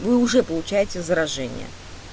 вы уже получаете заражение